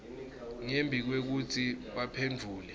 ngembi kwekutsi baphendvule